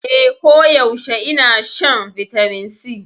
Eh, koyaushe ina shan Vitamin C.